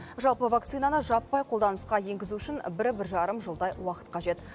жалпы вакцинаны жаппай қолданысқа енгізу үшін бір бір жарым жылдай уақыт қажет